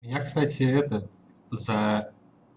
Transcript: я кстати это за